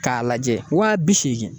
K'a lajɛ waa bi seegin